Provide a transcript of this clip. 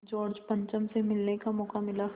George पंचम से मिलने का मौक़ा मिला